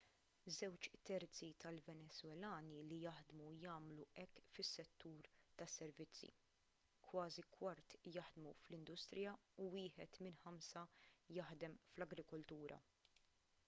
żewġ terzi tal-venezwelani li jaħdmu jagħmlu hekk fis-settur tas-servizzi kważi kwart jaħdmu fl-industrija u wieħed minn ħamsa jaħdem fl-agrikoltura